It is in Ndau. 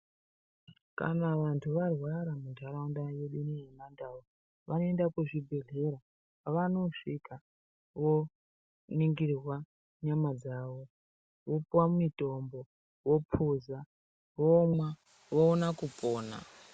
Kana vantu varwara muntaraunda yedu ineyi yemandau, vanoenda kuzvibhedhlera. Pavanosvika voningirwa nyama dzavo, vopiwa mitombo, vophuza, vomwa, voona kupona.